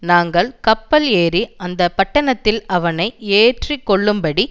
நாங்கள் கப்பல் ஏறி அந்த பட்டணத்தில் அவனை ஏற்றிக்கொள்ளும்படி